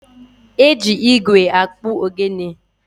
E ji igwe akpụ ogene.